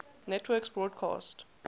networks broadcast